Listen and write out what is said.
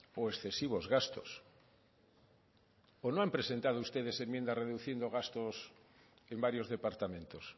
o excesivos gastos pues no han presentado ustedes enmienda reduciendo gastos en varios departamentos